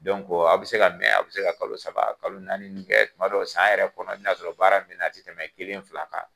a' bɛ se ka mɛ, a' bɛ se ka kalo saba, kalo naani nn kɛ, tumadɔ san yɛrɛ kɔnɔ i bi n'a sɔrɔ baara min be na a te tɛmɛ kelen fila kan.